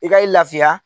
I ka i lafiya